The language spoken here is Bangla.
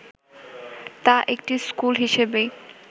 তা একটি ‘স্কুল’ হিসেবেই